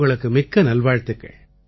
உங்களுக்கு மிக்க நல்வாழ்த்துக்கள்